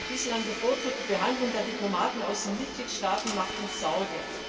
Die bislang bevorzugte Behandlung der Diplomaten aus den Mitgliedstaaten macht uns Sorge.